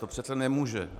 To přece nemůže.